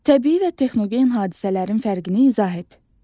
Təbii və texnogen hadisələrin fərqini izah et.